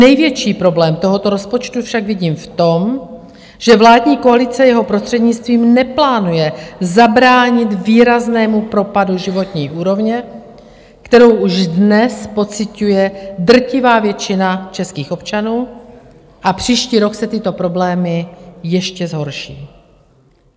Největší problém tohoto rozpočtu však vidím v tom, že vládní koalice jeho prostřednictvím neplánuje zabránit výraznému propadu životní úrovně, kterou už dnes pociťuje drtivá většina českých občanů, a příští rok se tyto problémy ještě zhorší.